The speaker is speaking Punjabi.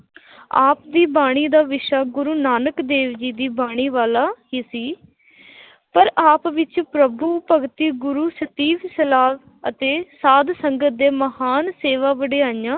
ਆਪ ਦੀ ਬਾਣੀ ਦਾ ਵਿਸ਼ਾ ਗੁਰੂ ਨਾਨਕ ਦੇਵ ਜੀ ਦੀ ਬਾਣੀ ਵਾਲਾ ਹੀ ਸੀ ਪਰ ਆਪ ਵਿੱਚ ਪ੍ਰਭੂ ਭਗਤੀ, ਗੁਰੂ ਅਤੇ ਸਾਧ ਸੰਗਤ ਦੇ ਮਹਾਨ ਸੇਵਾ ਵਡਿਆਈਆਂ,